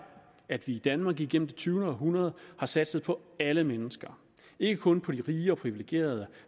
at vi i danmark igennem det tyvende århundrede har satset på alle mennesker ikke kun på de rige og de privilegerede